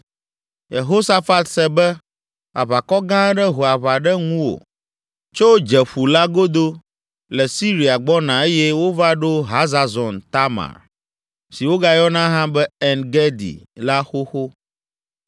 Yehosafat se be, “Aʋakɔ gã aɖe ho aʋa ɖe ŋuwò tso Dzeƒu la godo le Siria gbɔna eye wova ɖo Hazazon Tamar, si wogayɔna hã be En Gedi la xoxo.”